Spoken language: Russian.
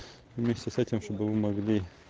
вместе с этим чтобы вы могли